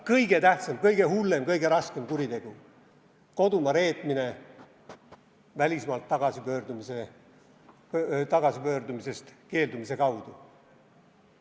Kõige tähtsam, kõige hullem, kõige raskem kuritegu – kodumaa reetmine välismaalt tagasipöördumisest keeldumise kaudu.